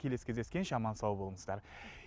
келесі кездескенше аман сау болыңыздар